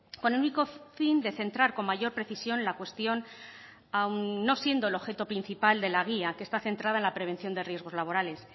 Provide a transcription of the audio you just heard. con el único fin de centrar con mayor precisión la cuestión aun no siendo el objeto principal de la guía que está centrada en la prevención de riesgos laborales